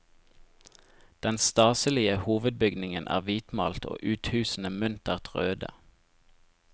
Den staselige hovedbygningen er hvitmalt og uthusene muntert røde.